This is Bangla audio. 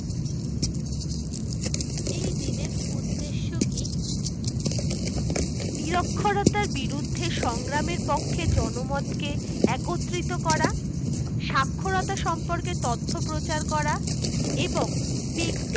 এই দিন এর উদ্দেশ্য কি নিরক্ষরতার বিরুদ্ধে সংগ্রামের পক্ষে জনমত কে একত্রিত করা, সাক্ষরতা সম্পর্কে তথ্য প্রচার করা এবং ব্যক্তি